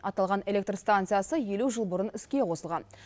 аталған электр станциясы елу жыл бұрын іске қосылған